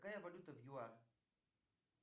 какая валюта в юар